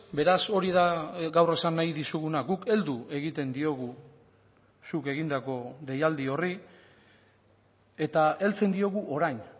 beraz hori da gaur esan nahi dizuguna guk heldu egiten diogu zuk egindako deialdi horri eta heltzen diogu orain